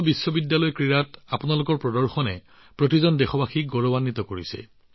বিশ্ব বিশ্ববিদ্যালয় গেমছত আপোনাৰ প্ৰদৰ্শনে প্ৰতিজন দেশবাসীক গৌৰৱান্বিত কৰিছে